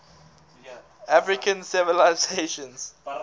african civilizations